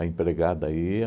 empregada ia,